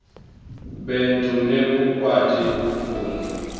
betfu lekukwati kufundza